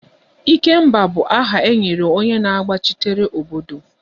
Ikemba bụ aha e nyere onye na-agbachitere obodo